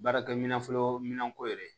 Baarakɛminɛn fɔlɔminɛnko de ye